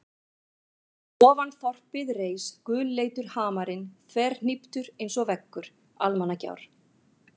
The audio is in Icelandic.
Og fyrir ofan þorpið reis gulleitur hamarinn þverhníptur einsog veggur Almannagjár.